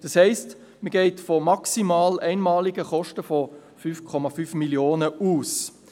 Das heisst, man geht von maximalen einmaligen Kosten von 5,5 Mio. Franken aus.